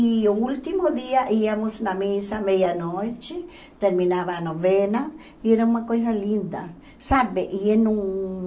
E o último dia íamos na missa à meia-noite, terminava a novena e era uma coisa linda, sabe? Ia num